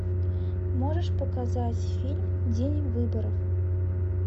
можешь показать фильм день выборов